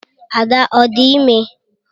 . Ada ọ dị ime?